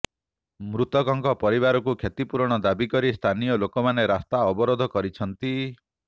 ମୃତକଙ୍କ ପରିବାରକୁ କ୍ଷତିପୂରଣ ଦାବି କରି ସ୍ଥାନୀୟ ଲୋକମାନେ ରାସ୍ତା ଅବରୋଧ କରିଛନ୍ତି